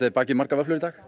þið bakið margar vöfflur í dag